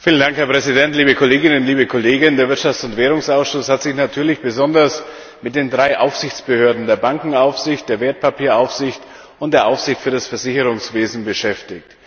Herr Präsident, liebe Kolleginnen und Kollegen! Der Ausschuss für Wirtschaft und Währung hat sich natürlich besonders mit den drei Aufsichtsbehörden der Bankenaufsicht, der Wertpapieraufsicht und der Aufsicht für das Versicherungswesen beschäftigt.